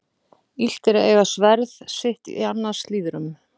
Illt er að eiga sverð sitt í annars slíðrum.